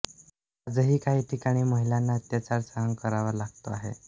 आजही काही ठिकाणी महिलांना अत्याचार सहन करावा लागतो आहे